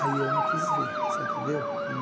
Aí eu não quis ver, você entendeu?